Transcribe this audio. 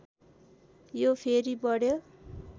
यो फेरि बढ्यो